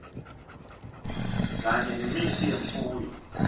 kanye nemitsi yemfuyo